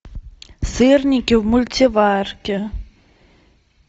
сырники в мультиварке